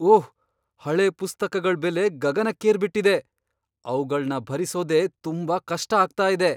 ಓಹ್! ಹಳೆ ಪುಸ್ತಕಗಳ್ ಬೆಲೆ ಗಗನಕ್ಕೇರ್ಬಿಟಿದೆ. ಅವ್ಗಳ್ನ ಭರಿಸೋದೇ ತುಂಬಾ ಕಷ್ಟ ಆಗ್ತಾ ಇದೆ.